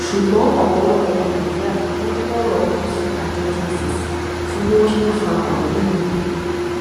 ṣùgbọn ọpọlọpọ ọmọ nàìjíríà ló ń kọrọ ojú sí àjọ dss fún bí wọn ṣe ń ń fa ọrọ yìí gùn